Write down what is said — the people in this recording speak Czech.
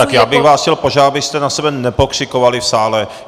Tak já bych vás chtěl požádat, abyste na sebe nepokřikovali v sále!